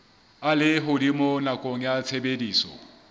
a lehodimo nakong ya tshebediso